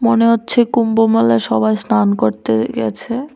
মনে হচ্ছে কুম্ভ মেলা সবাই স্নান করতে গেছে।